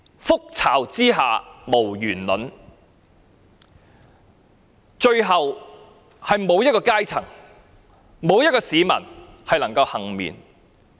覆巢之下無完卵，最後，沒有一個階層和市民可以倖免。